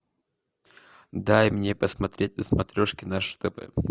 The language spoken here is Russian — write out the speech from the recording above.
дай мне посмотреть на смотрешке наше тв